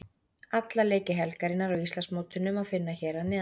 Alla leiki helgarinnar á Íslandsmótinu má finna hér að neðan.